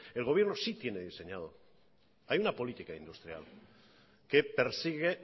el gobierno sí tiene diseñado hay una política industrial que persigue